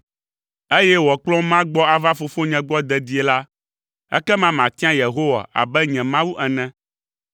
eye wòakplɔm magbɔ ava fofonye gbɔ dedie la, ekema matia Yehowa abe nye Mawu ene!